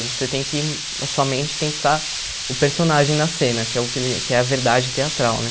Você tem que a sua mente tem que estar o personagem na cena, que é o que ele, que é a verdade teatral né.